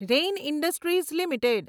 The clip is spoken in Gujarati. rain Industries limited